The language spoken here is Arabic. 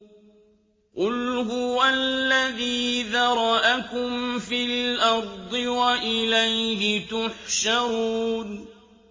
قُلْ هُوَ الَّذِي ذَرَأَكُمْ فِي الْأَرْضِ وَإِلَيْهِ تُحْشَرُونَ